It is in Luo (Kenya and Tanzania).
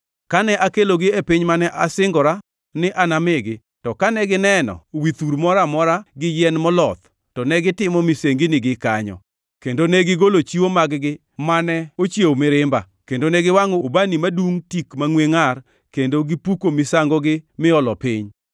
Kane akelogi e piny mane asingora ni anamigi, to kane gineno wi thur moro amora gi yien moloth to negitimo misenginigi kanyo, kendo negigolo chiwo mag-gi mane ochiewo mirimba, kendo ne giwangʼo ubani madungʼ tik mangʼwe ngʼar kendo gipuko misangogi miolo piny.